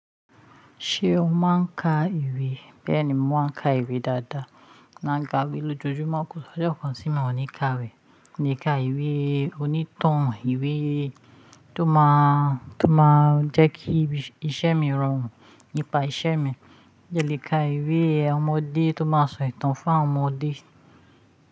Ṣé o máa ń ka ìwé? Bẹ́ẹ̀ni, mo máa ń ka ìwé dáadáa. Mo n ga bí lójoojúmọ́ kò sí ojo kan tí mo ò ní ka rẹ̀. Ni ká ìwé onítàn, ìwé tó máa, tó máa jẹ́ kí iṣẹ́ mi rọrùn nípa iṣẹ́ mi. Mo jẹ́ le ka ìwé ọmọdé tó máa sọ ìtàn fún àwọn ọmọdé.